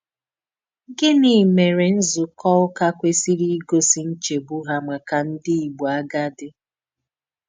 Gịnị mèré nzúkọ ụ́kà kwésìrì ígòsì nchègbù hà màkà ndí Ìgbò àgádì?